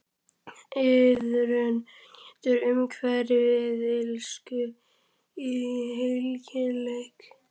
Iðrun getur umhverft illsku í heilagleika.